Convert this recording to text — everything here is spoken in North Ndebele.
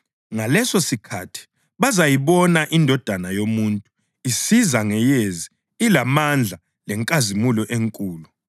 Ngalesosikhathi bazayibona iNdodana yoMuntu isiza ngeyezi ilamandla lenkazimulo enkulu.